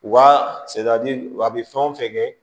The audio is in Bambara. U ka a bɛ fɛn o fɛn kɛ